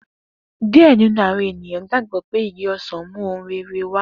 Diẹ ninu awọn eniyan gbagbọ pe igi osan mu ohun rere wa.